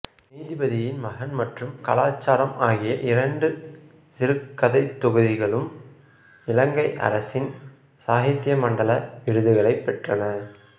நீதிபதியின் மகன் மற்றும் காலச் சாளரம் ஆகிய இரண்டு சிறுகதைத் தொகுதிகளும் இலங்கை அரசின் சாகித்திய மண்டல விருதுகளைப் பெற்றன